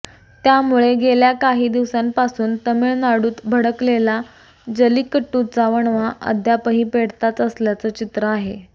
त्यामुळे गेल्या काही दिवसांपासून तामिळनाडूत भडकलेला जलिकट्टूचा वणवा अद्यापही पेटताच असल्याचं चित्र आहे